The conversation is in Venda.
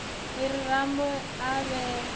a ri rambo a vhale